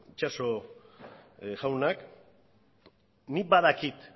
itxaso jaunak nik badakit